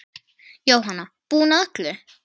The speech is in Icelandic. Jóhanna: Búinn að öllu?